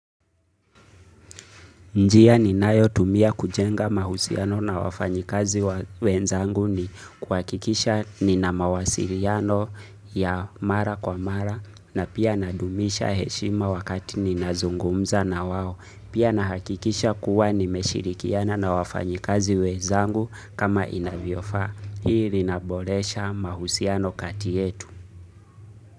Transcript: Njia ninayo tumia kujenga mahusiano na wafanyikazi wenzangu ni kuhakikisha nina mawasiliano ya mara kwa mara na pia nadumisha heshima wakati ninazungumza na wao. Pia nahakikisha kuwa nimeshirikiana na wafanyikazi wenzangu kama inavyofaa. Hii rinaboresha mahusiano kati yetu.